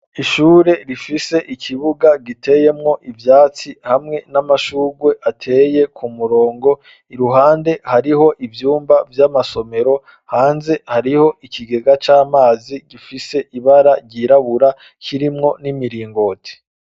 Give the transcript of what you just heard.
Ishure rifise ikibuga giteyemwo ivyatsi ,hamwe n'amashurwe ateye ku murongo, iruhande hariho ivyumba vy'amasomero ,hanze hariho ikigega c'amazi gifise ibara ryirabura ,kirimwo n'imiringoti.